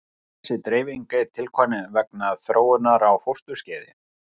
Þessi dreifing er tilkomin vegna þróunar á fósturskeiði.